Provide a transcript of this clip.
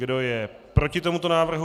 Kdo je proti tomuto návrhu?